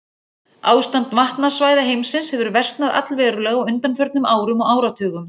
Ástand vatnasvæða heimsins hefur versnað allverulega á undanförnum árum og áratugum.